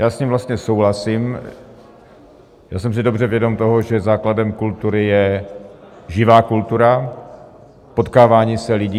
Já s ním vlastně souhlasím a jsem si dobře vědom toho, že základem kultury je živá kultura, potkávání se lidí.